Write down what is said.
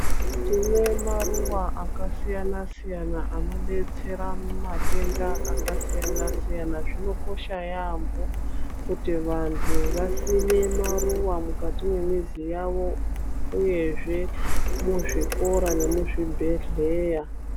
Tine maruwa akasiyana-siyana anodetsera matenda akasiyana-siyana, zvinokosha yambo kuti vantu vasime maruwa mukati mwemizi yavo uyezve muzvikora nemuzvibhedhleya.